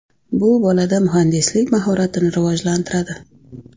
Bu bolada muhandislik mahoratini rivojlantiradi.